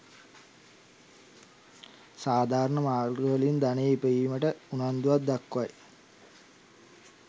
සාධාරණ මාර්ගවලින් ධනය ඉපයීමට උනන්දුවක්‌ දක්‌වයි.